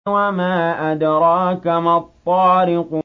وَمَا أَدْرَاكَ مَا الطَّارِقُ